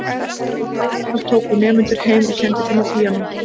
Á veturna tók hún nemendur heim og kenndi þeim á píanó.